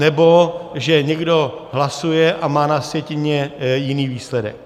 Anebo že někdo hlasuje a má na sjetině jiný výsledek.